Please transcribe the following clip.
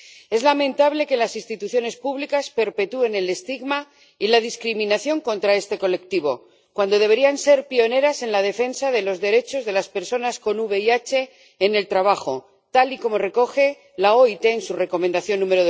Es lamentable que las instituciones públicas perpetúen el estigma y la discriminación contra este colectivo, cuando deberían ser pioneras en la defensa de los derechos de las personas con VIH en el trabajo, tal y como recoge la OIT en su Recomendación n.º